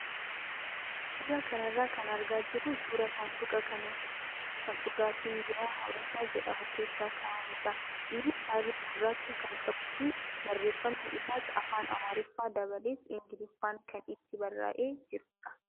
Suuraa kana irraa kan argaa jirru suuraa saanduqa kan dhugaatiin biiraa "habashaa" jedhamu keessa kaa'amudha. Innis halluu gurraacha kan qabuu fi barreeffamni isaas afaan amaariffaa dabalees ingiliffaan kan itti barraayee jirudha.